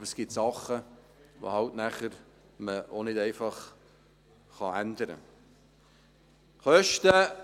Aber es gibt Dinge, die man einfach nicht ändern kann.